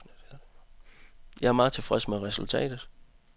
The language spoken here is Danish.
Jeg er meget tilfreds med resultatet.